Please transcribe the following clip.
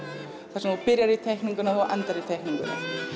þar sem þú byrjar í teikningunni og þú endar í teikningunni